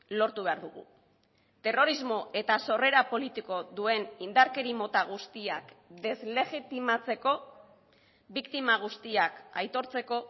lortu behar dugu terrorismo eta sorrera politiko duen indarkeri mota guztiak deslegitimatzeko biktima guztiak aitortzeko